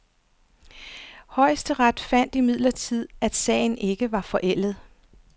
Højesteret fandt imidlertid, at sagen ikke var forældet.